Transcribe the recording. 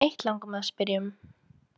Eitt langar mig að spyrja um.